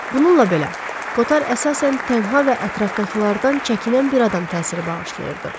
Bununla belə, Kotar əsasən tənha və ətrafdakılardan çəkinən bir adam təsiri bağışlayırdı.